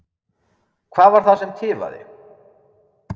Hvað var það sem tifaði?